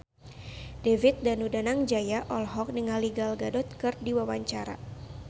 David Danu Danangjaya olohok ningali Gal Gadot keur diwawancara